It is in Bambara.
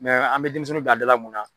an be denmisɛnninw bila a da la mun na.